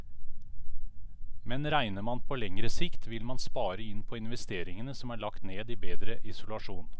Men regner man på lengre sikt, vil man spare inn på investeringene som er lagt ned i bedre isolasjon.